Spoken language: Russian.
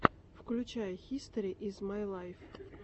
включай хистори из май лайф